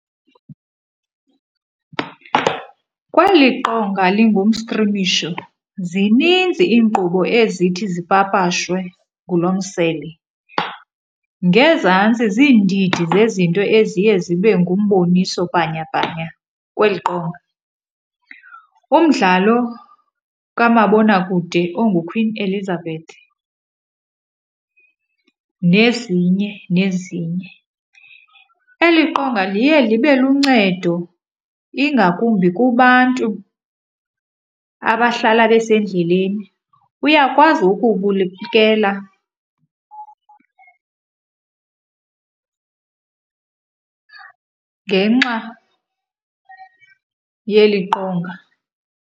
Kweli qonga lingumstrimisho zininzi iinkqubo ezithi zipapashwe ngulo msele. Ngezantsi ziindidi zezinto eziye zibe ngumboniso bhanyabhanya kweli qonga. Umdlalo kamabonakude onguQueen Elizabeth nezinye nezinye. Eli qonga liye libe luncedo ingakumbi kubantu abahlala besendleleni. Uyakwazi ngenxa yeli qonga.